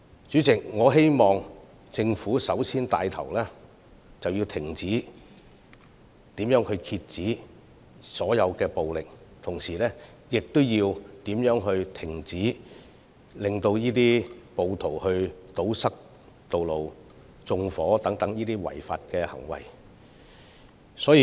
主席，我希望政府首先能夠牽頭遏止所有暴力，同時亦要制止暴徒堵塞道路或縱火等違法行為。